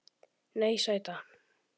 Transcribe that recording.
Nei, sæta.